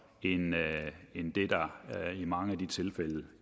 end det der i mange af de tilfælde